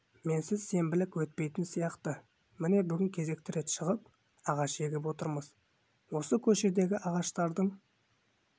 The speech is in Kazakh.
менсіз сенбілік өтпейтін сияқты міне бүгін кезекті рет шығып ағаш егіп отырмыз осы көшедегі ағаштардың